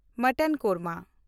mutton korma